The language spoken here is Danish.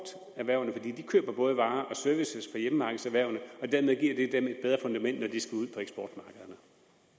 de køber både varer og services af hjemmemarkedserhvervene og dermed giver det dem et bedre fundament